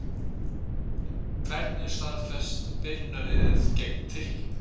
Hvernig er staðfest byrjunarlið gegn Tyrkjum?